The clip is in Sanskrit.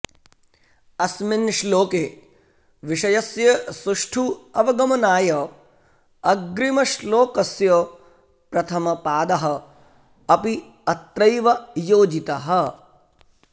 अस्मिन् श्लोके विषयस्य सुष्ठु अवगमनाय अग्रिमश्लोकस्य प्रथमपादः अपि अत्रैव योजितः